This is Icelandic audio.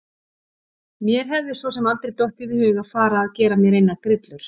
Mér hefði svo sem aldrei dottið í hug að fara að gera mér neinar grillur.